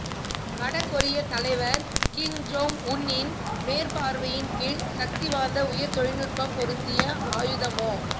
வடகொரியத் தலைவர் Kim Jong Un இன் மேற்பார்வையின்கீழ் சக்திவாய்ந்த உயர் தொல்நுட்பம் பொருந்திய ஆயுதமொ